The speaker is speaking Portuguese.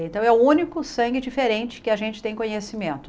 Então, é o único sangue diferente que a gente tem conhecimento.